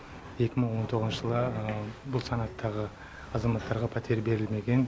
екі мың он тоғызыншы жылы бұл санаттағы азаматтарға пәтер берілмеген